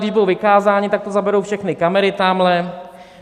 Když budou vykázáni, tak to zaberou všechny kamery tamhle.